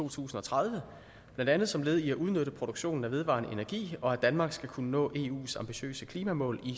to tusind og tredive blandt andet som led i at udnytte produktionen af vedvarende energi og at danmark skal kunne nå eu’s ambitiøse klimamål i